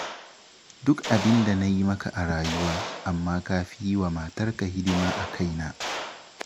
Duk abin da na yi maka a rayuwa, amma ka fi yi wa matarka hidima a kaina